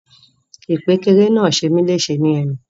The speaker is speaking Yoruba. Ìkpékeré náà ṣe mi leṣe ni ẹnu.